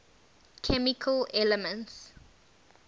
chemical elements